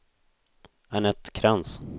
Anette Krantz